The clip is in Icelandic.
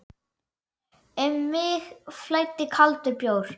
Um mig flæddi kaldur bjór.